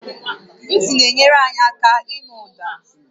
Ntị na-enyere anyị aka ịnụ ụda